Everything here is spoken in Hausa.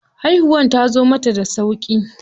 Haihuwar tazo mata da sauƙi.